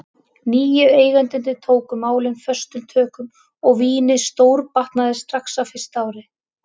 Nýju eigendurnir tóku málin föstum tökum og vínið stórbatnaði strax á fyrsta ári.